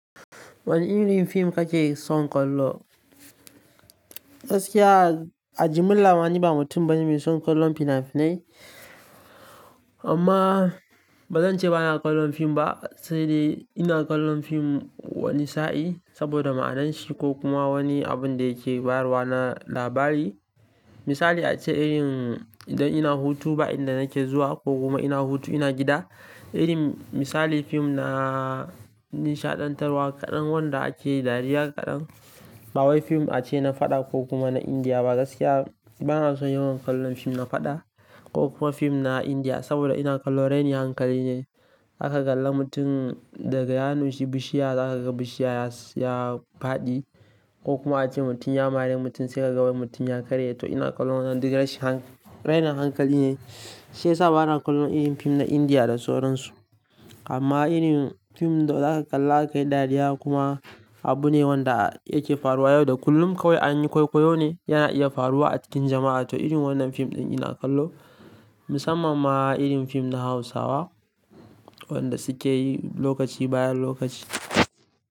Wani irin fim kake son kallo? Gaskiya, a jimilla ni ba mutum bane mai son kallon fina-finai. Amma ba zan ce ba na kallon fim ba, sai dai ina kallon fim wani sa'in saboda ma'adanin shi ko kuma wani abin da yake faruwa na labari. Misali ace irin idan ina hutu bayan da nake zuwa ko kuma ina hutu ina gida, irin misali fim na nishaɗantarwa kaɗan wanda ake yi dariya kaɗan. Bawai fim ace na faɗa ko kuma na Indiya ba. Gaskiya bana son yawan kallon fim na faɗa ko kuma fim na Indiya saboda ina kallon raini hankali ne. Aka kalla mutum daga ya nushi bishiya, aka kaga bishiya ya faɗi ko kuma ace mutum ya mare mutum, sai aka ga wai mutum ya karye. To ina kallon wannan duk rainin hankali ne, sai sa ba na kallon irin fim na Indiya da sauran su. Amma irin fim da za ka kalla akai dariya kuma abu ne wanda yake faruwa yau da kullum kawai anyi kwaikwayo ne yana iya faruwa a cikin jama'a. To irin wannan fim ɗin ina kallo, musamman ma irin fim na Hausawa wanda suke yi lokaci bayan lokaci.